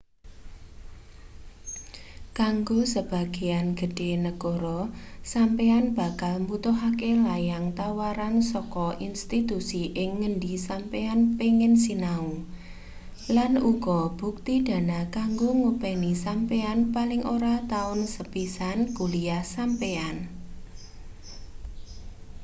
kanggo sebagean gedhe negara sampeyan bakal mbutuhake layang tawaran saka institusi ing ngendi sampeyan pengin sinau lan uga bukti dana kanggo ngopeni sampeyan paling ora taun sepisan kuliah sampeyan